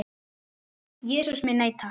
Jesús minn, nei takk.